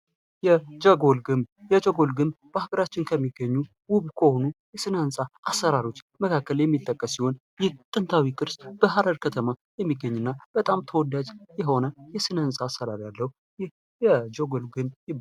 የጀጎል ግብ የጀጎል ግብ በሀገራችን ከሚገኙ ውብ ከሆኑ የስነ ህንፃህንፃ አሰራሮች መካከል የሚጠቀስ ሲሆን ይህ ጥንታዊ ቅርስ በሀረር ከተማ የሚገኝና በጣም ተወዳጅ የሆነ የስነ ህንፃ አሰራር ያለው የጀጎል ግንብ ነው።